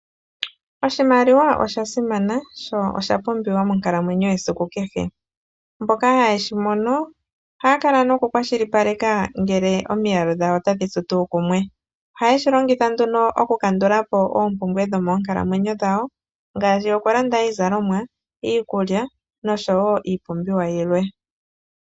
Oshimaliwa osha simana sho oshapumbiwa monkalamwenyo yesiku kehe. Mboka haye shi mono ohaya kala nokukwashilipaleka ngele omiyalu dhayo otadhi tsu tuu kumwe. Ohaye shi longitha nduno okukandula po oompumbwe dhomoonkalamwenyo dhawo ngaashi okulanda iizalomwa, iikulya nosho woo iipumbiwa yilwe.